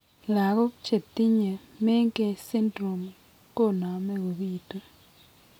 Lagok chetinye Menkes syndrome koname ko bitu